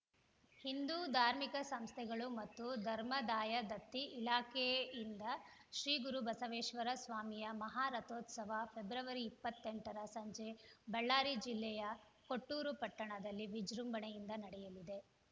ಹಿಂದೂ ಧಾರ್ಮಿಕ ಸಂಸ್ಥೆಗಳು ಮತ್ತು ಧರ್ಮಾದಾಯ ದತ್ತಿ ಇಲಾಖೆಯಿಂದ ಶ್ರೀ ಗುರು ಬಸವೇಶ್ವರ ಸ್ವಾಮಿಯ ಮಹಾ ರಥೋತ್ಸವ ಫೆಬ್ರವರಿ ಇಪ್ಪತ್ತೆಂಟರ ಸಂಜೆ ಬಳ್ಳಾರಿ ಜಿಲ್ಲೆಯ ಕೊಟ್ಟೂರು ಪಟ್ಟಣದಲ್ಲಿ ವಿಜೃಂಭಣೆಯಿಂದ ನಡೆಯಲಿದೆ